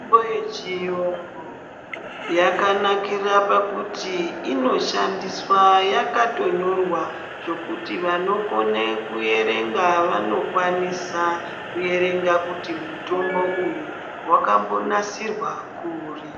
Mitombo yechiyungu, yakanakira pakuti inoshandiswa yakatonyorwa zvokuti vanokone kuyerenga vanokwanisa kuyerenga kuti mutombo uyu, wakambonasirwa kuri.